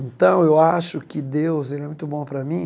Então eu acho que Deus, ele é muito bom para mim.